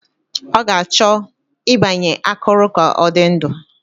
Ọ ga-achọ ịgbanye akụrụ ka ọ dị ndụ